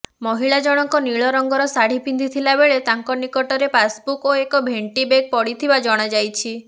ମହିଳା ଜଣକ ନିଳ ରଂଗର ଶାଢି ପିନ୍ଧିଥିଲାବେଳେ ତାଙ୍କ ନିକଟରେ ପାସ୍ବୁକ୍ ଓ ଏକ ଭେଣ୍ଟିବେଗ୍ ପଡିଥିବା ଜଣାଯାଇଛି